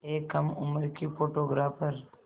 एक कम उम्र की फ़ोटोग्राफ़र